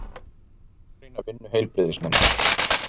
Gagnrýna vinnu heilbrigðisnefndar